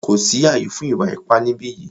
Kò sí ààyè fún ìwà ipá ni ìbí yìí!